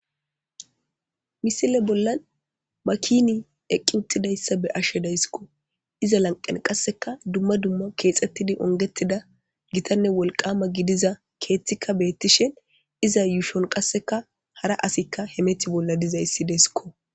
Misile bolla makin eqi utidaysa be'ishe daysko. Iza lanqen qaseka gitanne wolqama gidida kexetid kum utida keth betishn iza yushon qaseka hara asy hemeta bolla dizays desko.